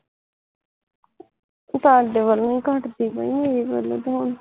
ਤੁਹਾਡੇ ਵਲੋਂ ਹੀਂ ਘਟਦੀ ਪਈ ਮੇਰੇ ਵਲੋਂ ਤੇ ਹੁਣ